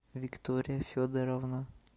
виктория федоровна